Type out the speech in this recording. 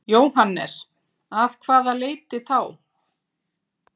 Jóhannes: Að hvaða leyti þá?